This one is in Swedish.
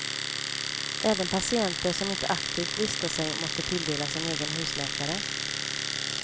Även patienter som inte aktivt listar sig måste tilldelas en egen husläkare.